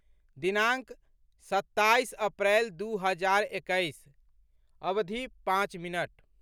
दिनाङ्क, सत्ताइस अप्रैल दू हजार एकैस, अवधि, पाँच मिनट